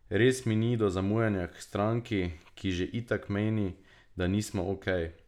Res mi ni do zamujanja k stranki, ki že itak meni, da nismo ok.